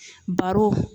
Baro